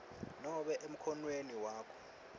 nobe emkhonweni wakho